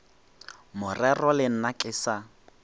morero le nna ke sa